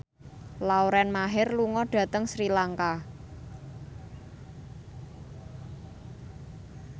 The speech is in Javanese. Lauren Maher lunga dhateng Sri Lanka